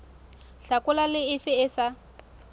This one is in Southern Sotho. hlakola le efe e sa